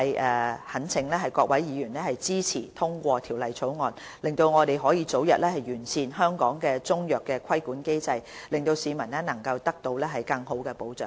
我懇請各位議員支持通過《條例草案》，讓我們早日完善香港的中藥規管機制，令市民能得到更佳保障。